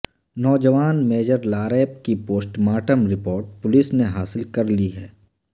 نوجوان میجر لاریب کی post mortem report police نے حاصل کرلی ہے